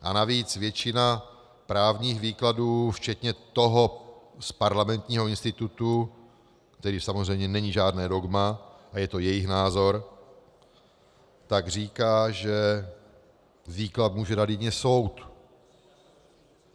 A navíc většina právních výkladů včetně toho z Parlamentního institutu, který samozřejmě není žádné dogma a je to jejich názor, tak říká, že výklad může dát jedině soud.